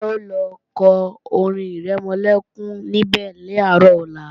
Táyọ̀ ò lọ kọ orin-ìrẹmọlẹ́kún níbẹ̀ làárọ̀ ọ̀la